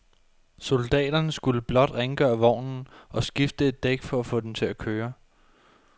Soldaterne skulle blot rengøre vognen og skifte et dæk for at få den til at køre.